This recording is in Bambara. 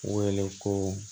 Wele ko